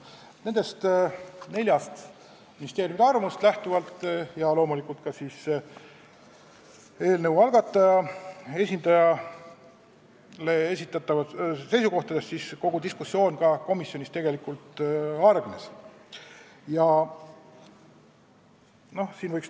Nendest nelja ministeeriumi arvamustest ja loomulikult ka eelnõu algatajate esindaja seisukohtadest lähtuvalt kogu diskussioon komisjonis tegelikult hargneski.